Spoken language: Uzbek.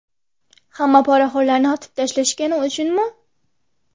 Hamma poraxo‘rlarni otib tashlashgani uchunmi?